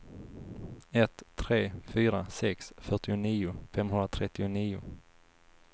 ett tre fyra sex fyrtionio femhundratrettionio